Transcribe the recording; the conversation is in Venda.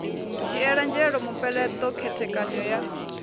dzhiele nzhele mupeleṱo khethekanyo ya